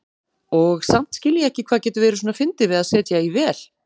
Og samt skil ég ekki hvað getur verið svona fyndið við að setja í vél.